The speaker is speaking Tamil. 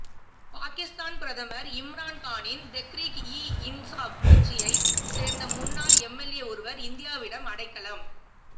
பாகிஸ்தான் பிரதமர் இம்ரான் கானின் தெக்ரீக் இ இன்சாப் கட்சியை சேர்ந்த முன்னாள் எம்எல்ஏ ஒருவர் இந்தியாவிடம் அடைக்கலம்